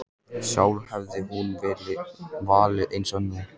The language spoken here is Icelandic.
Sjálf hefði hún valið eins nú.